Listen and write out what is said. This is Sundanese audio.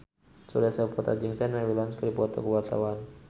Surya Saputra jeung Serena Williams keur dipoto ku wartawan